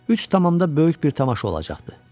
Üç tamamda böyük bir tamaşa olacaqdı.